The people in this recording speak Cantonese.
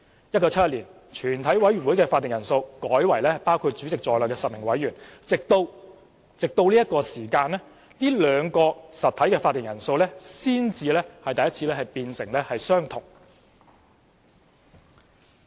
1971年，全委會的會議法定人數改為包括主席在內的10位委員，直至這刻兩個實體的會議法定人數才變相同。